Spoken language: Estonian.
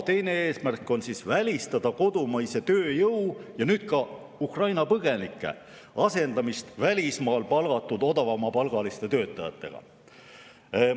Teine eesmärk on välistada kodumaise tööjõu – ja nüüd ka Ukraina põgenike – asendamist välismaal palgatud madalama palgaga töötajatega.